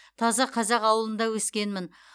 таза қазақ ауылында өскенмін